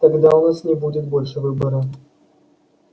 тогда у нас не будет больше выбора